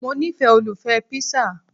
Mo nifẹ́ olùfẹ́ píṣà